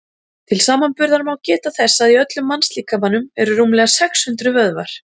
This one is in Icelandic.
til samanburðar má geta þess að í öllum mannslíkamanum eru rúmlega sex hundruð vöðvar